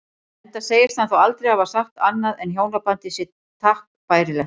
Enda segist hann þá aldrei hafa sagt annað en hjónabandið sé takk bærilegt.